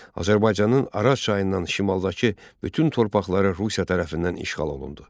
Azərbaycanın Araz çayından şimaldakı bütün torpaqları Rusiya tərəfindən işğal olundu.